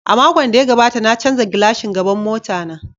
A makon da ya gabata na canza glashin gaban mota na.